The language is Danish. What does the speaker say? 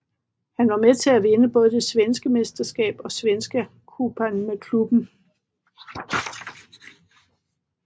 Han var med til at vinde både det svenske mesterskab og Svenska Cupen med klubben